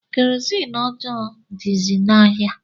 Kerozini ọjọọ dizi n'ahịa.